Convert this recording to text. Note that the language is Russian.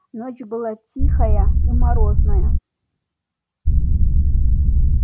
ночь была тихая и морозная